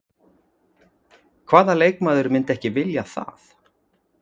Hvaða leikmaður myndi ekki vilja það?